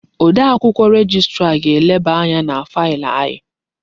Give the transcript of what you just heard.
Odee akwụkwọ rejistra ga-eleba anya na failị anyị.